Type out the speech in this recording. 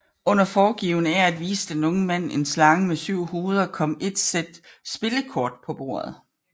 Under foregivende af at vise den unge mand en slange med syv hoveder kom et sæt spillekort på bordet